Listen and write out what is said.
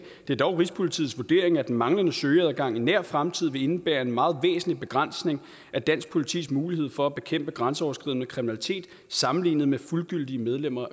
det dog er rigspolitiets vurdering at den manglende direkte søgeadgang i nær fremtid vil indebære en meget væsentlig begrænsning af dansk politis mulighed for at bekæmpe grænseoverskridende kriminalitet sammenlignet med fuldgyldige medlemmer